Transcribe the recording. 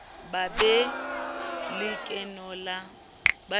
ba be le lekeno la